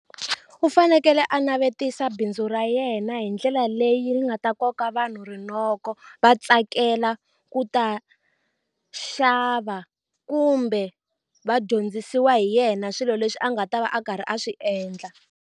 U fanekele a navetisa bindzu ra yena hi ndlela leyi nga ta koka vanhu rinoko va tsakela ku ta xava kumbe va dyondzisiwa hi yena swilo leswi a nga ta va a karhi a swi endla.